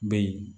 Bɛ yen